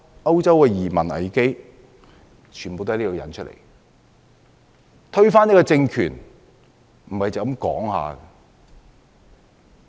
歐洲的移民危機也是推翻政權所引致的。